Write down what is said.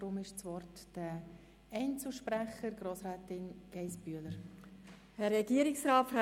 Das Wort haben die Einzelsprechenden, zuerst Grossrätin Geissbühler-Strupler.